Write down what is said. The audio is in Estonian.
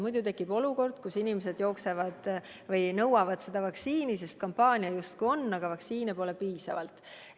Muidu tekib olukord, kus inimesed nõuavad seda vaktsiini, sest kampaania justkui on, aga vaktsiini pole piisavalt.